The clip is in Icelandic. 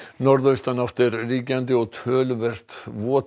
norðaustanátt er ríkjandi og töluvert